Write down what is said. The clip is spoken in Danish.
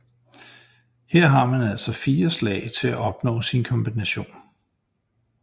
Her har man altså 4 slag til at opnå sin kombination